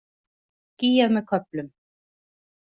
Skýjað með köflum